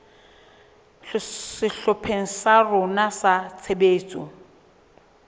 sehlopheng sa rona sa tshebetso